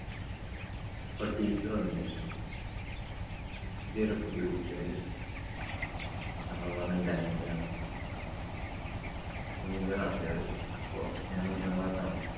അപ്പോൾ teacher വന്നു ചോദിച്ചു. ഇതേതാ പുതിയ കുട്ടി ഇവിടെയുള്ളത്. അപ്പൊ പറഞ്ഞു എന്‍റെ അനിയനാണ്. അപ്പൊ നിന്‍റെ class ഏതാ ചോദിച്ചു. അപ്പൊ ഞാന്‍ ഒന്നാം class ആണല്ലോ.